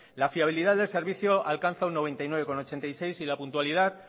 la fiabilidad del servicio alcanza un noventa y nueve coma ochenta y seis y la puntualidad